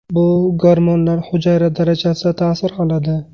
Bu gormonlar hujayra darajasida ta’sir qiladi.